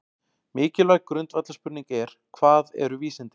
Mikilvæg grundvallarspurning er: Hvað eru vísindi?